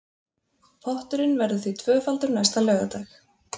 Potturinn verður því tvöfaldur næsta laugardag